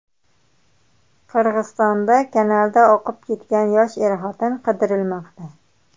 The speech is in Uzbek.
Qirg‘izistonda kanalda oqib ketgan yosh er-xotin qidirilmoqda.